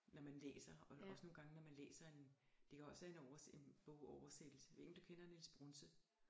Når man læser og også nogle gange når man læser en det kan også være en overs en bogoversættelse jeg ved ikke om du kender Niels Brunse